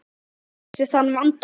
Næsta orðabók leysir þann vanda.